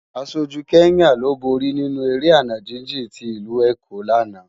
Áṣójú Kenya ló bóri ninú éré àná jijin ti Ilú Ékó làná